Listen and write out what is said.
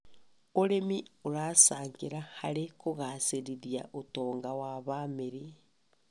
ũrĩmi ũracangĩra harĩ kũgacĩrithia ũtonga wa bamĩrĩ.